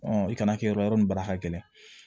i kana kɛ yɔrɔ nin baara ka gɛlɛn